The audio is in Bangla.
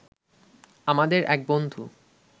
আমাদের এক বন্ধু